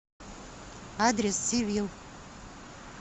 адрес сивил